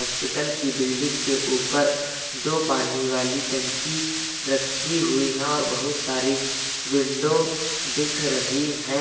Hospital की building के ऊपर दो पानी वाली टंकी रखी हुई हैं और बहुत सारी विंडो दिख रही हैं।